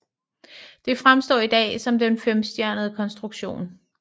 Det fremstår i dag som en femstjernet konstruktion